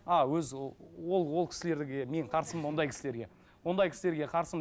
а өз ол ол кісілерге мен қарсымын ондай кісілерге ондай кісілерге қарсымын